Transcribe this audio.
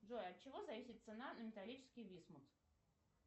джой от чего зависит цена на металлический висмут